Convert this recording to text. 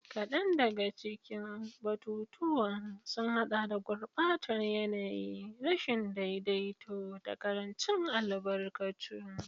Kadan daga cikin batutuwan sun hada da gurbatar yanayi, rashin daidaito, da karancin albarkatu.